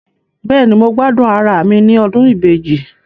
Bẹ́ẹ̀ni, mo gbádùn ara mi ní ọdún ibeji